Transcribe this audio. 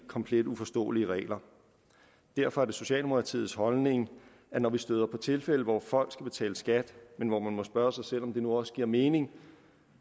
komplet uforståelige regler derfor er det socialdemokratiets holdning at når vi støder på tilfælde hvor folk skal betale skat men hvor man må spørge sig selv om det nu også giver mening